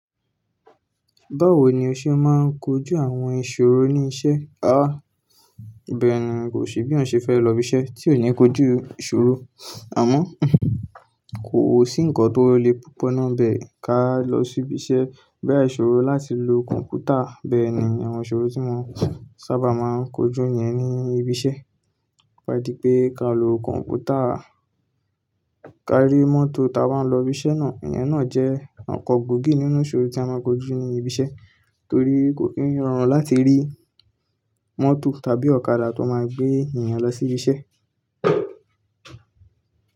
Báwo ni o ṣe máa ń kojú àwọn ìṣòro ní iṣẹ́? Àá, bẹ́ẹ̀ ni, kò sí bí òun ṣe fẹ́ lọ ibiṣẹ́ tí ò ní kojú ìṣòro. Àmọ́, kò sí ǹkan tó le púpọ̀ náà bẹ́ẹ̀ ká lọ sí ibiṣẹ́. Bẹ́ẹ̀ ìṣòro láti lo kọ̀m̀pútà bẹ́ẹ̀ ni àwọn ìṣòro tí mo sábà máa ń kojú níyẹn ni ibiṣẹ́. Tó ba dí pé ká lo kọ̀m̀pútà, ká rí mọ́tò ta wá ń lọ ibiṣẹ́ náà. Ìyẹn náà jẹ́ ọ̀kọ̀ gbòógì nínú ìṣòro tí a máa ń kojú ní ibiṣẹ́. Torí kò kí ń rọrùn láti rí mọ́tò tàbí ọ̀kadà tó máa gbé èèyàn lọ sí ibiṣẹ́